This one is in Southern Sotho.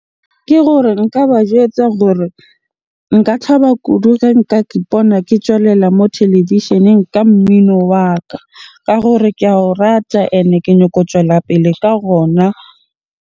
Ke gore nka ba jwetsa gore nka thaba kudu ge nka kipona ke tswelela mo televisheneng ka mmino wa ka. Ka gore ke ao rata and ke nyako tswela pele ka .